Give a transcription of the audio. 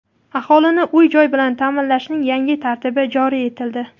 Aholini uy-joy bilan taʼminlashning yangi tartibi joriy etildi.